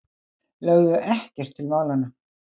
Lögðu ekkert til málanna.